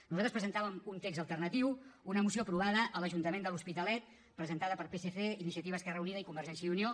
nosaltres presentàvem un text alternatiu una moció aprovada a l’ajuntament de l’hospitalet presentada per psc iniciativa esquerra unida i convergència i unió